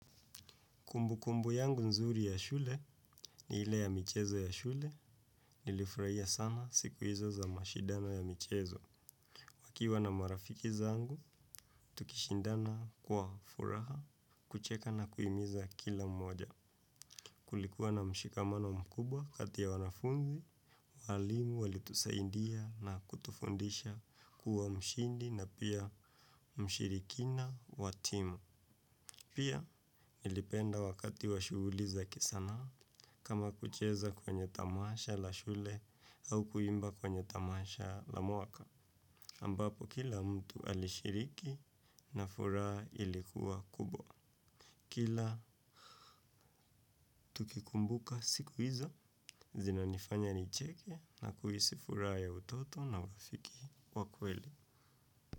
Kumbukumbu yangu nzuri ya shule ni ile ya michezo ya shule nilifurahia sana siku hizo za mashindano ya michezo tukiwa na marafiki zangu, tukishindana kwa furaha, kucheka na kuhimiza kila mmoja. Kulikuwa na mshikamano mkubwa kati ya wanafunzi, walimu, walitusaindia na kutufundisha kuwa mshindi na pia mshirikina wa timu. Pia, nilipenda wakati wa shuguli za kisanaa, kama kucheza kwenye tamasha la shule au kuimba kwenye tamasha la mwaka. Ambapo, kila mtu alishiriki na furaha ilikuwa kubwa. Kila, tukikumbuka siku hizo, zina nifanya nicheke na kuhisi furaha ya utoto na urafiki wakweli.